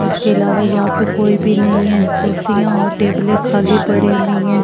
उसके अलावा यहां पे कोई भी नहीं है कुर्सियां और टेबलें खाली पड़ी हुई हैं।